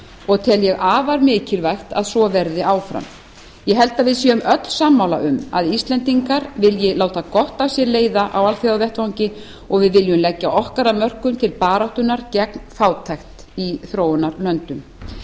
og tel ég afar mikilvægt að svo verði áfram ég held að við séum öll sammála um að íslendingar vilji láta gott af sér leiða á alþjóðavettvangi og að við viljum leggja okkar af mörkum til baráttunnar gegn fátækt í þróunarlöndunum